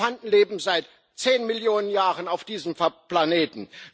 Elefanten leben seit zehn Millionen Jahren auf diesem Planeten.